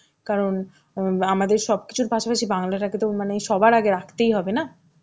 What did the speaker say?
কারণ আমাদের সবকিছুর পাশে পাশে বাংলা টাকে তো মানে সবার আগে রাখতেই হবে না.